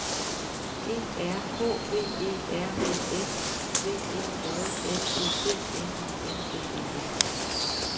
E R H V E R V S V E J L E D N I N G E N